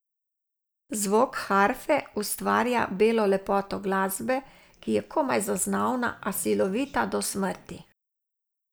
Zvok harfe ustvarja belo lepoto glasbe, ki je komaj zaznavna, a silovita do smrti.